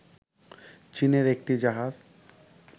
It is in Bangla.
চীনের একটি জাহাজ